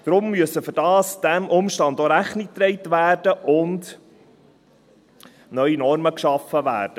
Diesem Umstand muss deshalb auch Rechnung getragen werden, und es müssen neue Normen geschaffen werden.